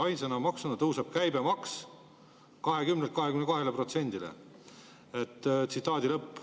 Ainsa maksuna tõuseb käibemaks 20%-lt 22%-le.